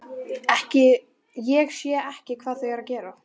Ég sé ekki hvað þau eru að gera.